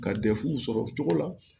Ka sɔrɔ o cogo la